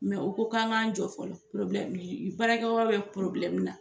Mɛ u ko k'an ka jɔ fɔlɔ baarakɛ yɔrɔ bɛ na